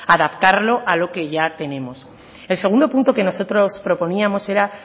adaptarlo a lo que ya tenemos el segundo punto que nosotros proponíamos era